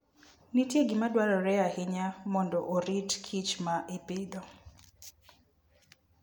Nitie gima dwarore ahinya mondo orit kich ma ipidho.